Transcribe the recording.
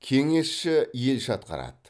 кеңесші елші атқарады